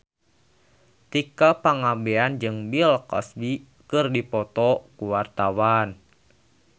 Tika Pangabean jeung Bill Cosby keur dipoto ku wartawan